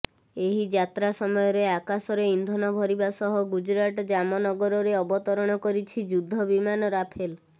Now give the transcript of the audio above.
ଏହି ଯାତ୍ରା ସମୟରେ ଆକାଶରେ ଇନ୍ଧନ ଭରିବା ସହ ଗୁଜରାଟ ଜାମନଗରରେ ଅବତରଣ କରିଛି ଯୁଦ୍ଧ ବିମାନ ରାଫେଲ